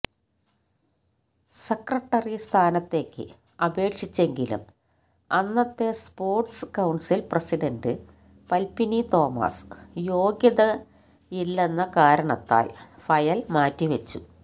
secretary സ്ഥാനത്തേക്ക് അപേക്ഷിച്ചെങ്കിലും അന്നത്തെ sports council president Padmini Thomas യോഗ്യതയില്ളെന്ന കാരണത്താല് ഫയല് മാറ്റിവെച്ചു